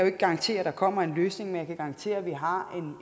ikke garantere at der kommer en løsning men jeg kan garantere at vi har